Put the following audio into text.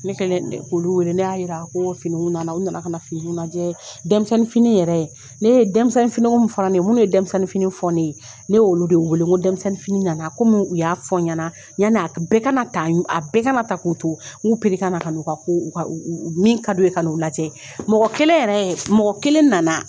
Ne kɛlen olu wele ne y'a jira ko finiini nana u nana fini lajɛf yɛrɛ ne yefini fana ye minnu ye denmisɛnninf fɔ ne ye ne olu de ye wele ko denmisɛnnin nana ko u y'a fɔ ɲɛna yan bɛɛ ka a bɛɛ kana ta k'u tou pere na min ka don ka lajɛ mɔgɔ kelen mɔgɔ kelen nana